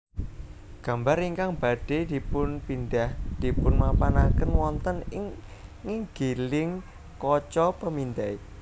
Gambar ingkang badhé dipunpindhah dipunmapanaken wonten ing nginggiling kaca pemindai